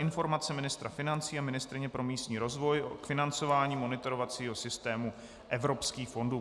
Informace ministra financí a ministryně pro místní rozvoj k financování monitorovacího systému evropských fondů